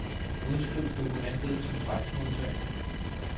Udskriv dokumentet til faxmodtager.